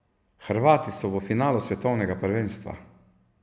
Hrvati so v finalu svetovnega prvenstva!